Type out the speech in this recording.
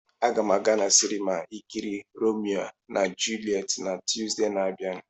Agam aga na sinima ikiri Romeo na Juliet na Tuzdee na-abia.